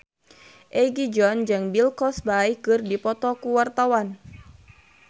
Egi John jeung Bill Cosby keur dipoto ku wartawan